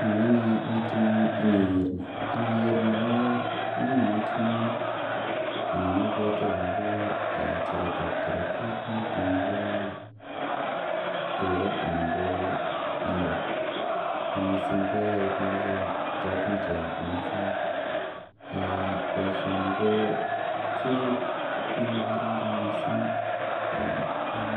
Nyone nee meting'ung' iniker ni inager ni konyonen metinyun anan abwate akobo charet ab Karatik noton Nebo tuga anan ko nego nemising koyae bik choton Che masaek baishoni ko kit nemakararan mising en